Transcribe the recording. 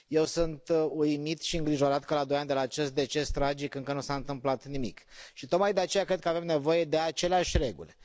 Eu sunt uimit și îngrijorat că la doi ani de la acest deces tragic încă nu s a întâmplat nimic și tocmai de aceea cred că avem nevoie de aceleași reguli.